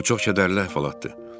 Bu çox kədərli əhvalatdır.